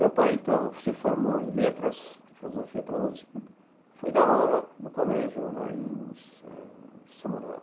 Meu pai, então, se formou em Letras, em Filosofia pela Uspe, foi dar aula no colégio lá em Sa em São Manuel.